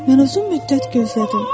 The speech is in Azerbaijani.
Mən uzun müddət gözlədim.